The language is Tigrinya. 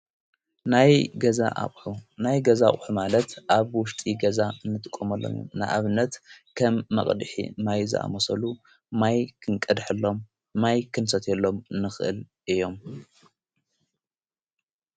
ናይ ገዛ ኣቕሑ ናይ ገዛቝኅ ማለት ኣብ ውሽጢ ገዛ እንትቆመሎም ንኣብነት ከም መቕድሕ ማይዝኣ ሞሰሉ ማይ ክንቀድሐሎም ማይ ክንሰት የሎም ንኽእል እዮም::